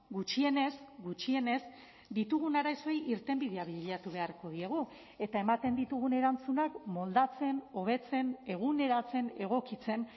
gutxienez gutxienez ditugun arazoei irtenbidea bilatu beharko diegu eta ematen ditugun erantzunak moldatzen hobetzen eguneratzen egokitzen